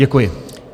Děkuji.